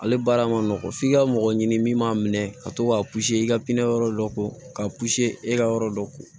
Ale baara ma nɔgɔ f'i ka mɔgɔ ɲini min m'a minɛ ka to k'a i ka pizini yɔrɔ dɔ ko k'a e ka yɔrɔ dɔ ko